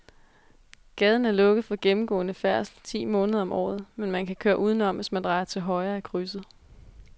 Gaden er lukket for gennemgående færdsel ti måneder om året, men man kan køre udenom, hvis man drejer til højre i krydset.